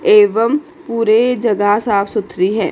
एवं पूरे जगह साफ सुथरी है।